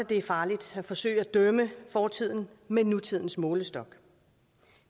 det er farligt at forsøge at dømme fortiden med nutidens målestok